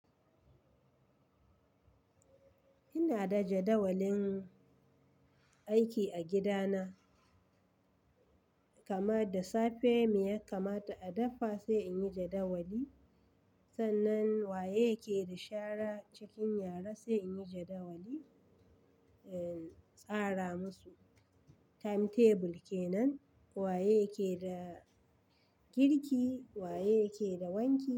Ina da jadawalin aiki a gida na, kamar da safe me yak kamata a dafa sai in yi jadawali. Sannan waye ke da shara cikin yara sai in yi jadawali, eh, tsara masu. Time table kenan, waye ke da girki, waye ke da wanki.